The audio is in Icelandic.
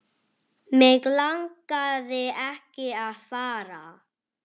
Mig langaði ekki að fara.